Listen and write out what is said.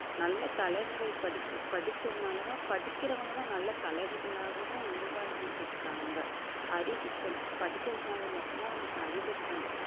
நல்ல தலைவர்கள் படிக்~ படிச்சதுனாலதான் படிக்கிறவங்கதான் நல்ல தலைவர்களாகவும் உருவாகிட்டு இருக்காங்க அறிவுக்கண் படிக்கிறதுனால மட்டும்தான் நமக்கு அறிவுக்கண்